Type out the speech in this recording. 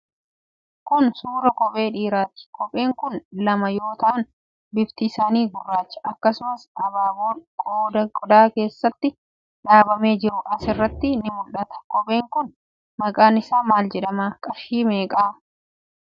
Kun suuraa kophee dhiiraa ti. Kopheen kun lama yoo ta'an, bifti isaanii gurraacha. Akkasumas abaaboon qodaa keessatti dhaabamee jiru as irratti ni mul'ata. Kopheen kun maqaan isaa maal jedhama. Qarshii meeqa?